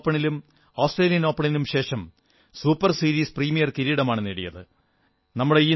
Indonesia ഓപ്പണിനും ആസ്ട്രേലിയൻ ഓപ്പണിനും ശേഷം സൂപർ സീരീസ് പ്രീമിയർ കിരീടമാണ് നേടിയത്